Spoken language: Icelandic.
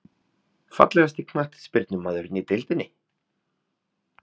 Fallegasti knattspyrnumaðurinn í deildinni?